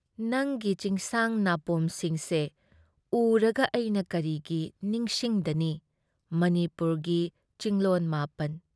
ꯅꯪꯒꯤ ꯆꯤꯡꯁꯥꯡ ꯅꯥꯄꯣꯝꯁꯤꯡꯁꯦ ꯎꯔꯒ ꯑꯩꯅ ꯀꯔꯤꯒꯤ ꯅꯤꯡꯁꯤꯡꯗꯅꯤ ꯃꯅꯤꯄꯨꯔꯒꯤ ꯆꯤꯡꯂꯣꯟ ꯃꯥꯄꯟ ꯫